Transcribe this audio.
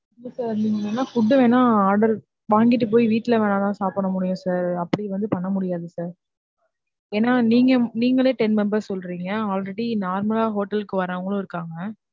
இல்ல sir நீங்க வேணா food வேணா order வாங்கிட்டு போய் வீட்டுல வேணா தான் சாப்பிடமுடியும் sir அப்டி வந்து பண்ணமுடியாது sir. ஏன்னா நீங்க நீங்களே ten members சொல்றிங்க already normal ஆ hotel க்கு வரவங்களும் இருக்காங்க.